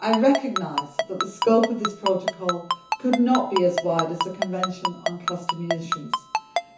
I recognise that the scope of this protocol could not be as wide as the Convention on Cluster Munitions,